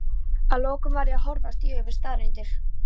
að lokum varð ég að horfast í augu við staðreyndir.